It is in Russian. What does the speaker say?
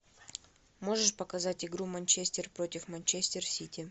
можешь показать игру манчестер против манчестер сити